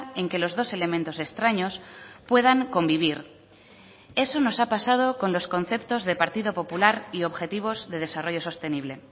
en que los dos elementos extraños puedan convivir eso nos ha paso con los conceptos de partido popular y objetivos de desarrollo sostenible